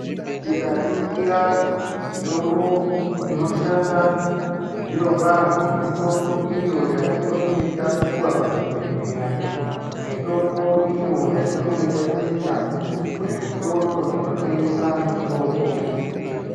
Tikaringira mitombo inoshanda zvirokwazvo, mitombo iyo yatinenge tapuwa kuzvibhedhleya. Mitombo iyo yatinenge tatenga kuzvitoro zvinotengesa mitombo.